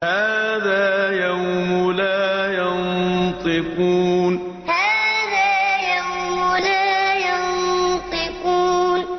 هَٰذَا يَوْمُ لَا يَنطِقُونَ هَٰذَا يَوْمُ لَا يَنطِقُونَ